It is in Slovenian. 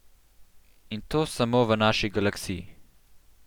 In to samo v naši galaksiji.